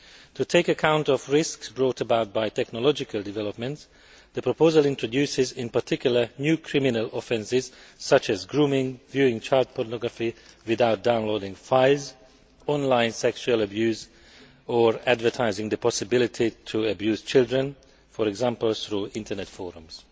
To take account of risks brought about by technological developments, the proposal introduces, in particular, new criminal offences such as grooming, viewing child pornography without downloading files, online sexual abuse or advertising the possibility to abuse children, for example, through Internet forums.